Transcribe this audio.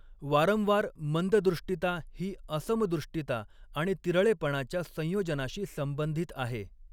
वारंवार मंददृष्टिता ही असमदृष्टिता आणि तिरळेपणाच्या संयोजनाशी संबंधित आहे.